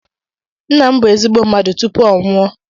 Nna m bụ ezigbo mmadụ tupu ọ nwụọ